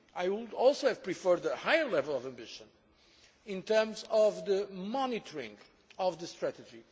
I would also have preferred a higher level of ambition in terms of the monitoring of the strategy.